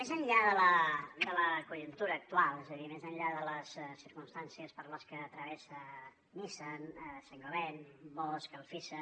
més enllà de la conjuntura actual és a dir més enllà de les circumstàncies per les que travessa nissan saint gobain bosch alfisa